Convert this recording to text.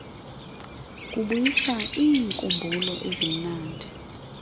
kubuyisa iinkumbulo ezimnandi